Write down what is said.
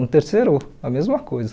No terceiro, a mesma coisa.